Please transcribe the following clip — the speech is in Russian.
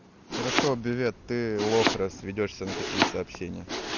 хорошо бювет ты лох раз ведёшься на такие сообщения